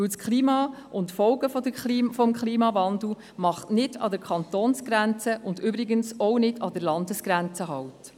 Denn das Klima und die Folgen des Klimawandels machen nicht an der Kantonsgrenze und übrigens auch nicht an der Landesgrenze halt.